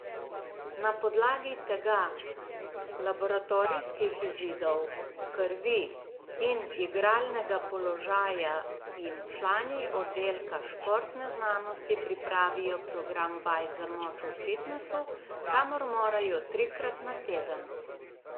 Na podlagi tega, laboratorijskih izidov krvi in igralnega položaja jim člani oddelka športne znanosti pripravijo program vaj za moč v fitnesu, kamor morajo trikrat na teden.